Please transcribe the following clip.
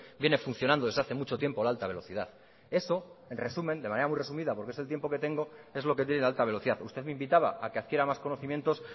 viene funcionando desde hace mucho tiempo la alta velocidad eso de manera muy resumida porque es el tiempo que tengo es lo que tiene la alta velocidad usted me invitaba a que adquiera más conocimientos